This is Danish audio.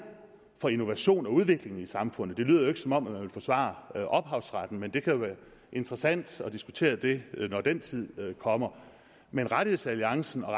for innovation og udvikling i samfundet det lyder jo ikke som om man vil forsvare ophavsretten men det kan jo være interessant at diskutere det når den tid kommer men rettighedsalliancen og